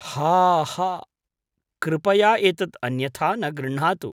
हा हा!कृपया एतत् अन्यथा न गृह्णातु।